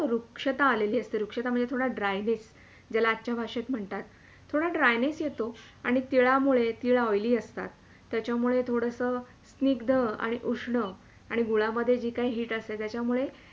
रुक्षता आलेली असते रुक्षता म्हणजे थोडे Dryness ज्याला आजच्या भाषात म्हणतात थोड Dryness येतो तिळामूळे तीळ oily असतात त्याच्यामुळे थोडासा स्निग्ध आणि उष्ण आणि गुळामध्ये जी काही Heat असते त्याच्यामुळे